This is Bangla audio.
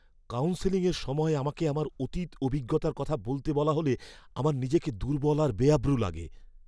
কাউন্সেলিংয়ের সময় আমাকে আমার অতীত অভিজ্ঞতার কথা বলতে বলা হলে আমার নিজেকে দুর্বল আর বেআব্রু লাগে।